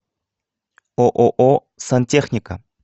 ооо сантехника